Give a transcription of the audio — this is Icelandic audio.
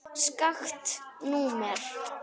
Skakkt númer.